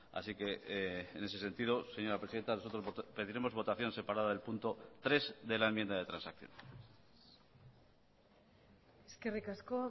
así que en ese sentido señora presidenta nosotros pediremos votación separada del punto tres de la enmienda de transacción eskerrik asko